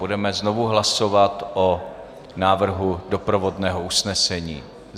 Budeme znovu hlasovat o návrhu doprovodného usnesení.